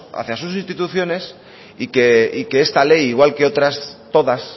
hacia sus instituciones y que esta ley igual que otras todas